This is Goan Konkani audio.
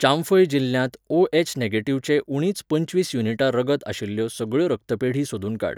चांफय जिल्ल्यांत ओ एच नेगिटेव्ह चे उणींच पंचवीस युनिटां रगत आशिल्ल्यो सगळ्यो रक्तपेढी सोदून काड.